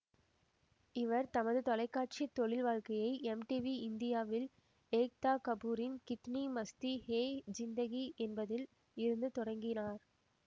இவர் தமது தொலைக்காட்சி தொழில்வாழ்க்கையை எம்டிவி இந்தியாவில் ஏக்தா கபூரின் கித்னி மஸ்தி ஹே ஜிந்தகி என்பதில் இருந்து தொடங்கினார்